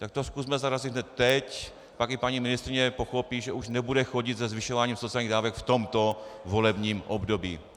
Tak to zkusme zarazit hned teď, pak i paní ministryně pochopí, že už nebude chodit se zvyšováním sociálních dávek v tomto volebním období.